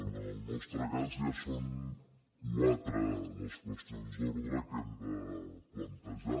en el nostre cas ja són quatre les qüestions d’ordre que hem de plantejar